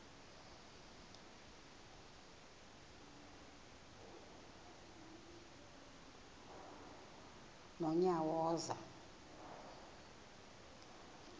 nonyawoza